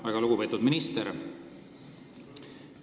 Väga lugupeetud minister!